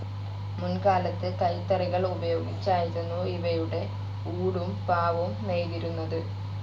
മുൻകാലത്ത് കൈത്തറികൾ ഉപയോഗിച്ചായിരുന്നു ഇവയുടെ ഊടും, പാവും നെയ്തിരുന്നത്.